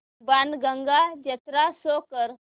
बाणगंगा जत्रा शो कर